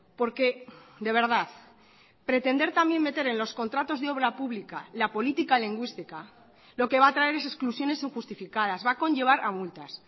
porque de verdad pretender también meter en los contratos de obra pública la política lingüística lo que va a traer es exclusiones injustificadas va a conllevar a multas